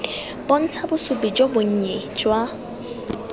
bontsha bosupi jo bonnye jwa